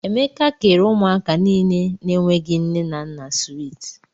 Emeka kèrè ụmụaka niile na -enweghi nne na nna swiiti.